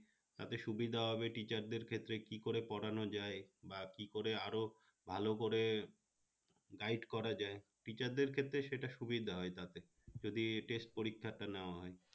তাকে সুবিধা হবে teacher দের ক্ষেত্রে কি করে পড়ানো যায় বা কি করে আরো ভালো করে guide করা যায় teacher দের ক্ষেত্রে সেটা সুবিধা হয় তাতে যদি test পরীক্ষাটা নেওয়া হয়